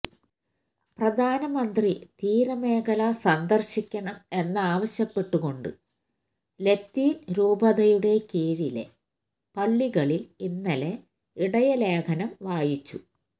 പ്രധാനമന്ത്രി തീരമേഖല സന്ദര്ശിക്കണം എന്നാവശ്യപ്പെട്ടുകൊണ്ട് ലത്തീന് രൂപതയുടെ കീഴിലെ പള്ളികളില് ഇന്നലെ ഇടയലേഖനം വായിച്ചു